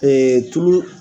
tulu